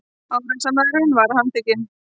Árásarmaðurinn var handtekinn